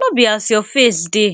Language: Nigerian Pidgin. no be as your face dey